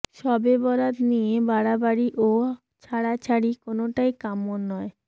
শবে বরাত নিয়ে বাড়াবাড়ি ও ছাড়াছাড়ি কোনোটাই কাম্য নয়